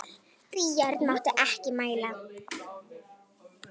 Björn mátti ekki mæla.